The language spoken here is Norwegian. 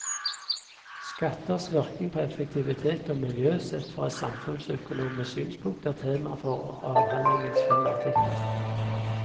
Skatters virkning på effektivitet og miljø, sett fra et samfunnsøkonomisk synspunkt, er temaet for avhandlingens fem artikler.